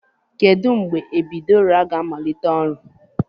Kedu mgbe epiidura ga-amalite ọrụ?